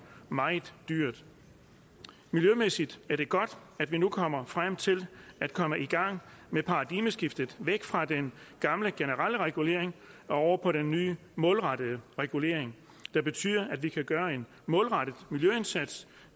meget dyrt miljømæssigt er det godt at vi nu kommer frem til at komme i gang med paradigmeskiftet væk fra den gamle generelle regulering og over på den nye målrettede regulering der betyder at vi kan gøre en målrettet miljøindsats